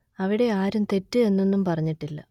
അവിടെ ആരും തെറ്റ് എന്നൊന്നും പറഞ്ഞിട്ടില്ല